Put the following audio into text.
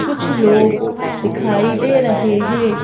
कुछ लोग दिखाई दे रहे हैं।